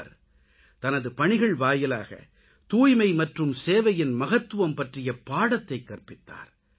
அவர் தனது பணிகள் வாயிலாக தூய்மை மற்றும் சேவையின் மகத்துவம் பற்றிய பாடத்தைக் கற்பித்தார்